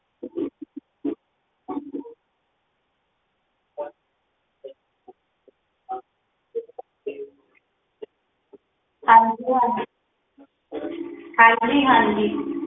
ਹਾਂਜੀ ਹਾਂ ਹਾਂਜੀ ਹਾਂਜੀ